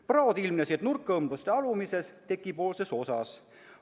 Praod ilmnesid nurkõmbluste alumises, tekipoolses osas.